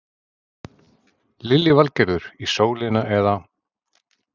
Lillý Valgerður: Í sólina eða?